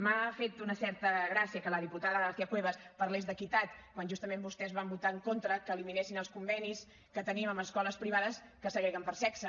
m’ha fet una certa gràcia que la diputada garcía cuevas parlés d’equitat quan justament vostès van votar en contra que eliminessin els convenis que tenim amb les escoles privades que segreguen per sexe